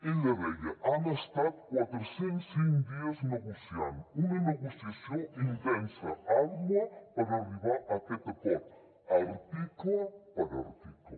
ella deia han estat quatre cents i cinc dies negociant una negociació intensa àrdua per arribar a aquest acord article per article